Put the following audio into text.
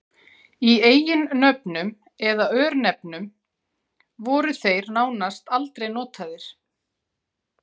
Í eiginnöfnum eða örnefnum voru þeir nánast aldrei notaðir.